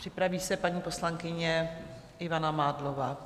Připraví se paní poslankyně Ivana Mádlová.